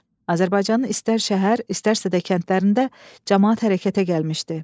Azərbaycanın istər şəhər, istərsə də kəndlərində camaat hərəkətə gəlmişdi.